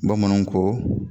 Bamananw ko.